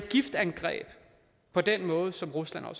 giftangreb på den måde som rusland har